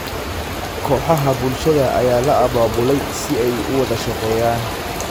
Kooxaha bulshada ayaa la abaabulay si ay u wada shaqeeyaan.